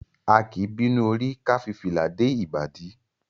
A kì í bínú orí ká fi fìlà dé ìbàdí.